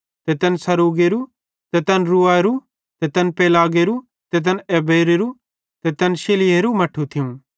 ते तैन सरूगेरो ते तैन रऊएरो ते तैन पेलेगेरो ते तैन एबेरेरू ते तैन शिलहेरू मट्ठू थियूं